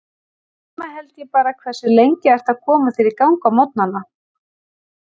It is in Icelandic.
Heima held ég bara Hversu lengi ertu að koma þér í gang á morgnanna?